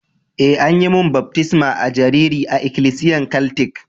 Eh, an yi mun baftisma a'jariri a'ikilisiyan katlic.